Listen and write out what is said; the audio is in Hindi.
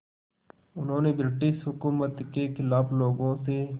उन्होंने ब्रिटिश हुकूमत के ख़िलाफ़ लोगों से